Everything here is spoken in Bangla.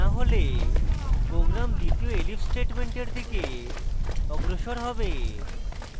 এটি না হলে program দ্বিতীয় elif স্টেটমেন্টের দিকে অগ্রসর হবে